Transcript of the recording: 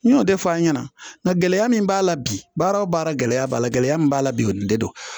N y'o de fɔ an ɲɛna nka gɛlɛya min b'a la bi baara o baara gɛlɛya b'a la gɛlɛya min b'a la bi o de don